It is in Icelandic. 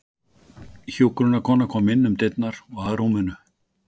Hjúkrunarkona kom inn um dyrnar og að rúminu.